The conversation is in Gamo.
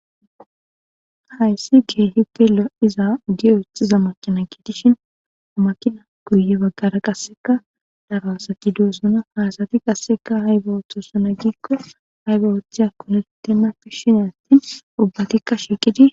Hayssi gee hitelo.iza giyoexiza makina giitishin makina kuye baggara qasseka daro asaki doossona haasati qasseka haybawoththosuna giikko haybawotheya konetena pis shineatti ubbatikka shiiqidi.